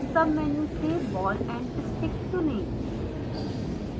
submenu से ball and stick चुनें